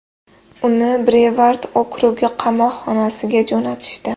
Uni Brevard okrugi qamoqxonasiga jo‘natishdi.